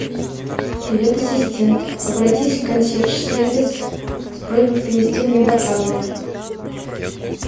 привет ассистент обратись в консьерж сервис с просьбой принести мне бокалы